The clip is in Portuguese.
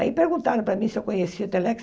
Aí perguntaram para mim se eu conhecia Telex.